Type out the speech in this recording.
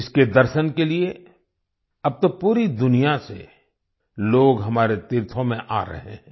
इसके दर्शन के लिए अब तो पूरी दुनिया से लोग हमारे तीर्थों में आ रहे हैं